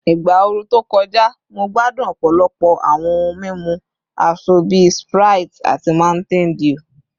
Igba ooru to kọja, Mo gbadun ọpọlọpọ awọn ohun mimu asọ bi Sprite ati Mountain Dew